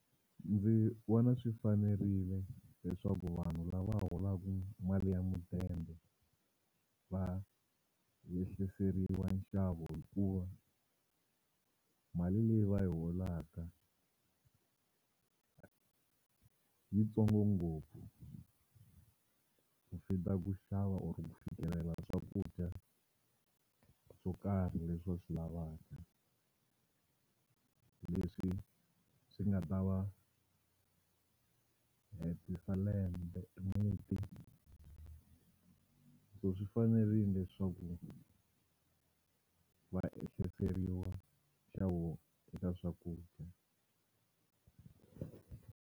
Ndzi vona swi fanerile leswaku vanhu lava holaku mali ya mudende va yehliseriwa nxavo hikuva mali leyi va yi holaka yitsongo ngopfu ku fika ku xava or ku fikelela swakudya swo karhi leswi va swi lavaka leswi swi nga ta va hetisa lembe e muti so swi fanerile leswaku va ehliseliwa nxavo eka swakudya.